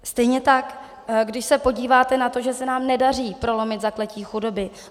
Stejně tak když se podíváte na to, že se nám nedaří prolomit zakletí chudoby.